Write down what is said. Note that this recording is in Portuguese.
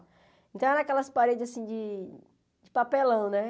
Então eram aquelas paredes assim de de papelão, né?